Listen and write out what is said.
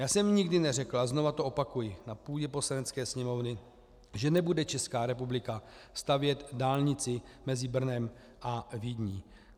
Já jsem nikdy neřekl, a znovu to opakuji, na půdě Poslanecké sněmovny, že nebude Česká republika stavět dálnici mezi Brnem a Vídní.